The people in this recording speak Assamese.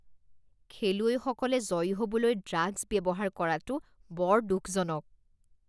খেলুৱৈসকলে জয়ী হ'বলৈ ড্ৰাগছ ব্যৱহাৰ কৰাটো বৰ দুখজনক